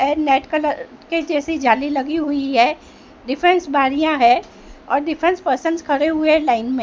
है net colour के जैसी जाली लगी हुई है डिफेंस बारियां है और डिफेंस पर्सन्स खड़े हुए लाइन में।